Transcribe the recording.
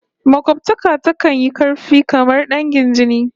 Makobtaka takan yi karfi kamar dangin jini